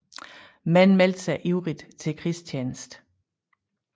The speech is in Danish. Mænd meldte sig ivrigt til krigstjeneste